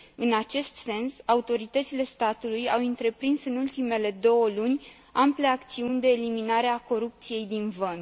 În acest sens, autoritățile statului au întreprins în ultimele două luni ample acțiuni de eliminare a corupției din vămi.